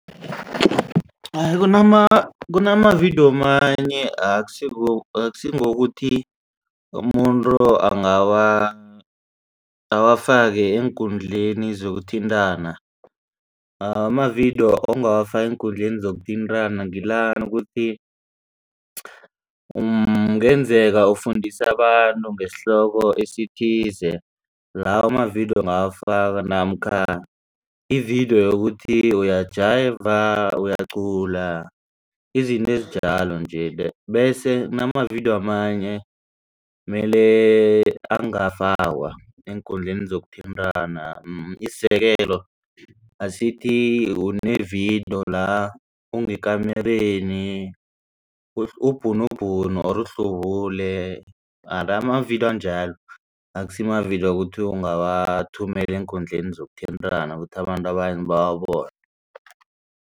Hayi kunamavidiyo manye akusingokuthi umuntu awafake eenkundleni zokuthintana. Amavidiyo ongawafaka eenkundleni zokuthintana ngila ukuthi umuntu kungenzeka ufundisa abantu ngesihloko esithize lawo amavidiyo ungawafaka namkha ividiyo yokuthi uyajayiva uyacula izinto ezinjalo nje bese kunamavidiyo amanye mele angafakwa eenkundleni zokuthintana. Isizekelo asithi une-vidiyo la ngekamereni ubhunubhunu or uhlubule mara amavidiyo anjalo akusimavidiyo ukuthi ungawathumela eenkundleni zokuthintana ukuthi abantu bawabone.